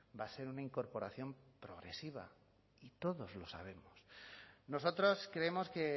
va a ser una incorporación progresiva todos lo sabemos nosotros creemos que